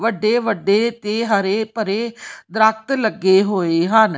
ਵੱਡੇ ਵੱਡੇ ਤੇ ਹਰੇ ਭਰੇ ਦਰਖਤ ਲੱਗੇ ਹੋਏ ਹਨ।